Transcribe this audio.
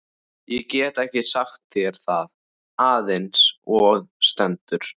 Ég get ekki sagt þér það eins og stendur.